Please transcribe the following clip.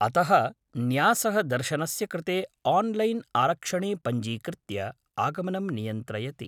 अतः न्यासः दर्शनस्य कृते आन्लैन् आरक्षणे पञ्जीकृत्य आगमनं नियन्त्रयति।